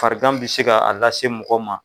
Farikan bɛ se ka a lase mɔgɔ ma.